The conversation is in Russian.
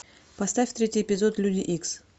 поставь третий эпизод люди икс